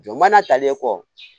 Jɔ mana talen kɔ